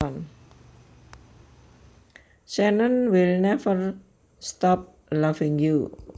Shannon will never stop loving you